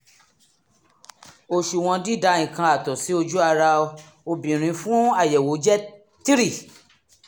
òṣùwọ̀n dídà nǹkan àtọ̀ sí ojú ara obìnrin fún àyẹ̀wò jẹ́ 3